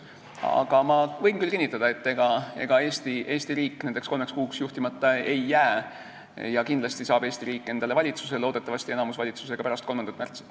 Aga ma võin küll kinnitada, et ega Eesti riik nendeks kolmeks kuuks juhtimata ei jää ja kindlasti saab Eesti riik endale valitsuse, loodetavasti enamusvalitsuse ka pärast 3. märtsi.